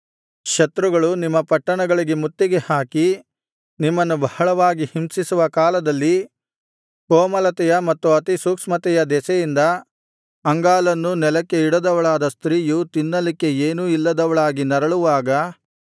ಶತ್ರುಗಳು ನಿಮ್ಮ ಪಟ್ಟಣಗಳಿಗೆ ಮುತ್ತಿಗೆ ಹಾಕಿ ನಿಮ್ಮನ್ನು ಬಹಳವಾಗಿ ಹಿಂಸಿಸುವ ಕಾಲದಲ್ಲಿ ಕೋಮಲತೆಯ ಮತ್ತು ಅತಿಸೂಕ್ಷ್ಮತೆಯ ದೆಸೆಯಿಂದ ಅಂಗಾಲನ್ನೂ ನೆಲಕ್ಕೆ ಇಡದವಳಾದ ಸ್ತ್ರೀಯು ತಿನ್ನಲಿಕ್ಕೆ ಏನೂ ಇಲ್ಲದವಳಾಗಿ ನರಳುವಾಗ